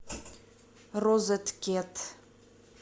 розеткед